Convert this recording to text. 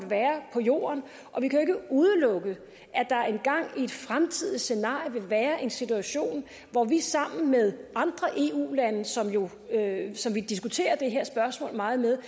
være på jorden og vi kan jo ikke udelukke at der engang i et fremtidigt scenarie vil være en situation hvor vi sammen med andre eu lande som vi diskuterer det her spørgsmål meget med